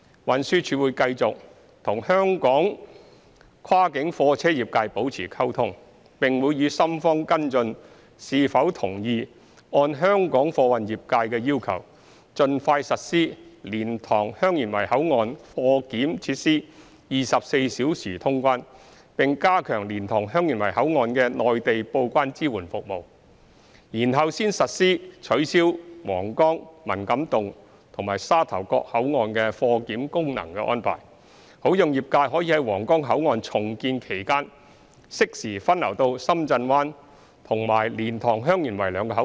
運輸署會繼續與香港跨境貨運業界保持溝通，並會與深方跟進是否同意按香港貨運業界的要求盡快實施蓮塘/香園圍口岸貨檢設施24小時通關，並加強蓮塘/香園圍口岸的內地報關支援服務，然後才實施取消皇崗、文錦渡和沙頭角口岸的貨檢功能的安排，好讓業界可在皇崗口岸重建期間適時分流到深圳灣及蓮塘/香園圍兩個口岸。